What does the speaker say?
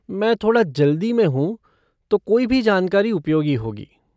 मैं थोड़ा जल्दी में हूँ तो कोई भी जानकारी उपयोगी होगी।